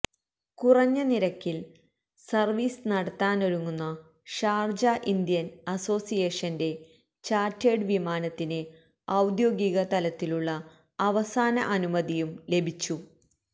കുറഞ്ഞ നിരക്കില് സര്വീസ് നടത്താനൊരുങ്ങുന്ന ഷാര്ജ ഇന്ത്യന് അസോസിയേഷന്റെ ചാര്ട്ടേഡ് വിമാനത്തിന് ഔദ്യോഗിക തലത്തിലുള്ള അവസാന അനുമതിയും ലഭിച്ചു